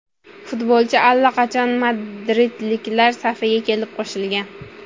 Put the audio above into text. Futbolchi allaqachon madridliklar safiga kelib qo‘shilgan.